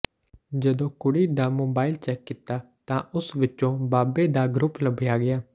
ਜਦੋਂ ਕੁੜੀ ਦਾ ਮੋਬਾਈਲ ਚੈੱਕ ਕੀਤਾ ਤਾਂ ਉਸ ਵਿੱਚੋਂ ਬਾਬੇ ਦਾ ਗਰੁੱਪ ਲੱਭਿਆ ਗਿਆ